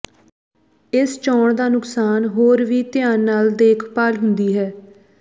ਇਸ ਚੋਣ ਦਾ ਨੁਕਸਾਨ ਹੋਰ ਵੀ ਧਿਆਨ ਨਾਲ ਦੇਖਭਾਲ ਹੁੰਦੀ ਹੈ